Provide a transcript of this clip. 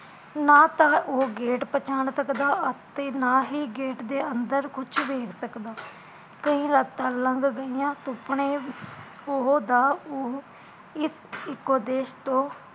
ਨਾ ਤਾ ਉਹ ਗੇਟ ਪਛਾਣ ਸਕਦਾ ਅਤੇ ਨਾਹੀਂ ਗੇਟ ਦੇ ਅੰਦਰ ਕੁਜ ਵੇਖ ਸਕਦਾ ਕਈ ਰਾਤਾ ਲੰਘ ਗਈਆ ਸੁਪਨੇ ਉਹਦਾ ਉਹ ਇਸ ਇੱਕੋ ਦੇਸ਼ ਤੋਂ